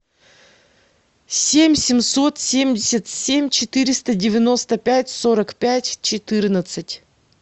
семь семьсот семьдесят семь четыреста девяносто пять сорок пять четырнадцать